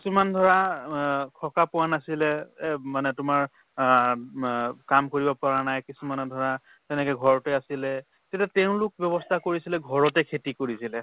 কিছুমান ধৰা অ সকাহ পোৱা নাছিলে এব মানে তোমাৰ অ উব অ কাম কৰিব পৰা নাই কিছুমানে ধৰা তেনেকে ঘৰতে আছিলে তেতিয়া তেওঁলোক ব্যৱস্থা কৰিছিলে ঘৰতে খেতি কৰিছিলে